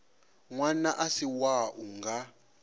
ṅwana a si wau nga